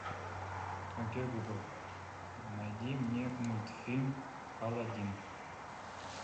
окей гугл найди мне мультфильм алладин